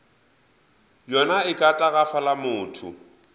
yona e ka tagafala motho